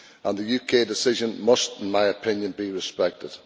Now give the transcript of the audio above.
The UK decision must, in my opinion, be respected.